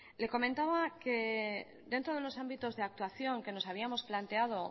le comentaba que dentro de los ámbitos de actuación que nos habíamos planteado